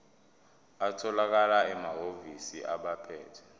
atholakala emahhovisi abaphethe